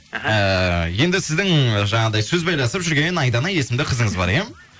іхі ііі енді сіздің жаңағыдай сөз байласып жүрген айдана есімді қызыңыз бар иә